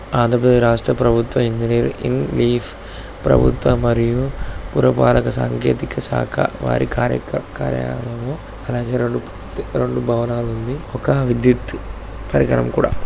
ఆంధ్ర ప్రదే-రాష్ట్ర ప్రభుత్వ engineer in chief ప్రభుత్వ మరియు పురపాలిక సాంకేతిక శాఖ. వారి కార్-కార్య- కార్యాలయము. అలాగే రెండు రెండు భవనాలు ఉంది. ఒక విద్యుత్ పరికరం కూడా.